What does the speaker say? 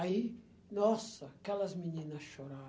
Aí, nossa, aquelas meninas